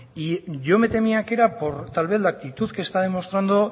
y yo me temía que era por tal vez la actitud que está demostrando